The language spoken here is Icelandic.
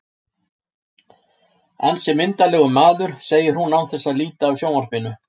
Ansi myndarlegur maður, segir hún án þess að líta af sjónvarpinu.